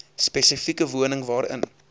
spesifieke woning waarin